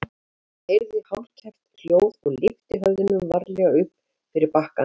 Hann heyrði hálfkæft hljóð og lyfti höfðinu varlega upp fyrir bakkann.